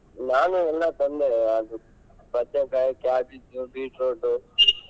ನಾನೂ ಎಲ್ಲಾ ತಂದೆ ಅದು ಬದನೇಕಾಯಿ, cabbage, beetroot .